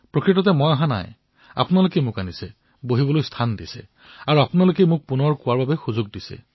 প্ৰকৃততে মই অহা নাই আপোনালোকে মোক আনিছে আপোনালোকেই মই বহুৱাইছে আৰু আপোনালোকেই মোক পুনৰবাৰ কথা কোৱাৰ অৱকাশ প্ৰদান কৰিছে